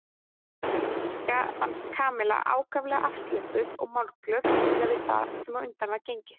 Nikka fannst Kamilla afskaplega afslöppuð og málglöð miðað við það sem á undan var gengið.